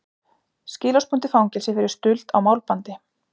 Skilorðsbundið fangelsi fyrir stuld á málbandi